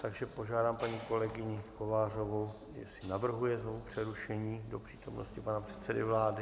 Takže požádám paní kolegyni Kovářovou, jestli navrhuje znovu přerušení do přítomnosti pana předsedy vlády.